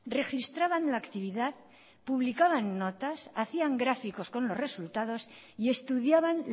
registraban la actividad publicaban notas hacían gráficos con los resultados y estudiaban